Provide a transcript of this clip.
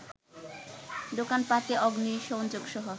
দোকানপাটে অগ্নিসংযোগসহ